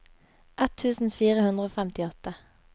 ett tusen fire hundre og femtiåtte